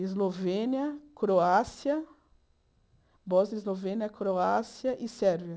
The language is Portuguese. Eslovênia, Croácia, Bosnia Eslovênia, Croácia e Sérvia.